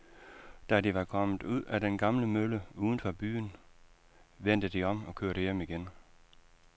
Da de var kommet ud til den gamle mølle uden for byen, vendte de om og kørte hjem igen.